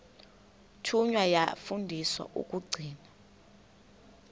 thunywa yafundiswa ukugcina